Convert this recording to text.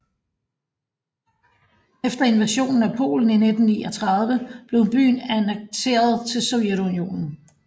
Efter invasionen af Polen i 1939 blev byen annekteret til Sovjetunionen